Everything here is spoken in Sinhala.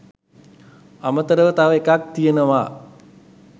අමතරව තව එකක් තියෙනවා